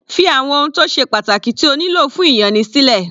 Fí àwọn ohun tó ṣe pàtàkì tí o nílò fún ìyanni sílẹ̀.